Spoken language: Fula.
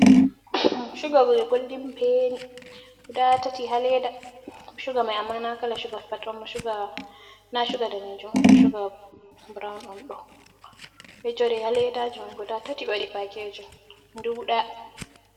Shuga je Goldin beni guda tati ha Leda. Shuga mai amma na Kala Shuga Pat on ba, Shuga na Shuga Danejum amma shuga Burawun'on ɗo ejori ha ledaji mai guda tati ɓe waɗi Pakejin dudɗa.